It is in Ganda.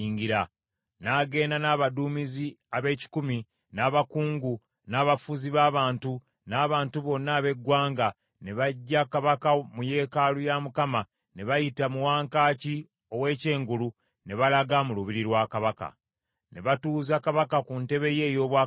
N’agenda n’abaduumizi ab’ekikumi, n’abakungu, n’abafuzi b’abantu, n’abantu bonna ab’eggwanga, ne baggya kabaka mu yeekaalu ya Mukama , ne bayita mu wankaaki ow’ekyengulu ne balaga mu lubiri lwa kabaka. Ne batuuza kabaka ku ntebe ye ey’obwakabaka.